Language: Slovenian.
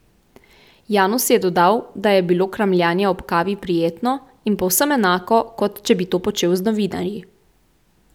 Janus je dodal, da je bilo kramljanje ob kavi prijetno in povsem enako, kot če bi to počel z novinarji.